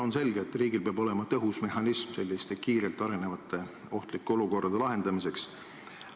On selge, et riigil peab olema tõhus mehhanism selliste kiirelt arenevate ohtlike olukordade lahendamiseks.